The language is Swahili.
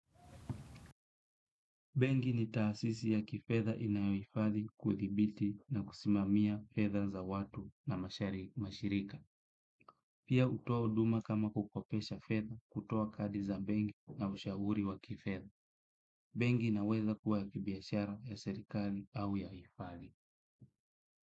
Benki ni taasisi ya kifedha inayo hifadhi, kuthibiti na kusimamia fedha za watu na mashirika. Pia hutoa huduma kama kukopesha fedha, kutoa kadi za benki na ushauri wa kifedha. Benki inaweza kuwa ya kibiashara, ya serikali au ya hifadhi.